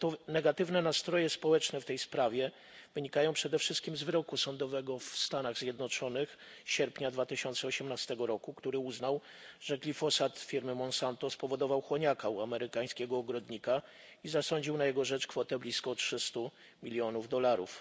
Negatywne nastroje społeczne w tej sprawie wynikają przede wszystkim z wyroku sądu w Stanach Zjednoczonych z sierpnia 2018 roku, który uznał że glifosat firmy Monsanto spowodował chłoniaka u amerykańskiego ogrodnika, i zasądził na jego rzecz kwotę blisko 300 milionów dolarów.